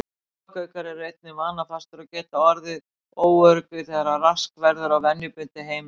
Páfagaukar eru einnig vanafastir og geta orðið óöruggir þegar rask verður á venjubundnu heimilishaldi.